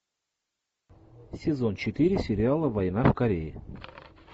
сезон четыре сериала война в корее